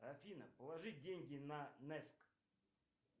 афина положи деньги на нэск